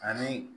Ani